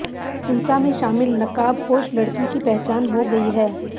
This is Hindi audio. हिंसा में शामिल नकाबपोश लड़की की पहचान हो गई है